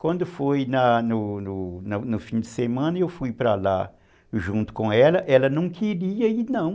Quando foi na no no fim de semana, eu fui para lá junto com ela, ela não queria ir não.